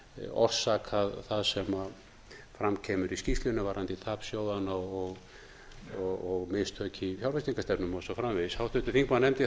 orsakað það sem fram kemur í skýrslunni varðandi tap sjóðanna og mistök í fjárveitingastefnum og svo framvegis háttvirtur þingmaður nefndi